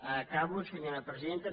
acabo senyora presidenta